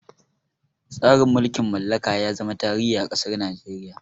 Tsarin mulkin mallaka ya zama tarihi a ƙasar Nigeria.